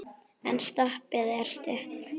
En stoppið er stutt.